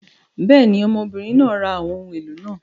Bẹ́ẹ̀ ni, ọmọbìnrin náà ra àwọn ohun èlò náà.